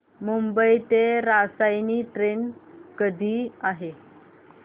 मुंबई ते रसायनी ट्रेन कधी आहे